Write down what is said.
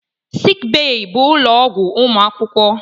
Sịịk bèyí bụ ụlọ ọgwụ ụmụ akwụkwọ.